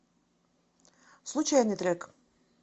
случайный трек